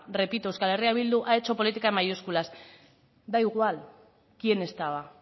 repito euskal herria bildu ha hecho política en mayúsculas da igual quién estaba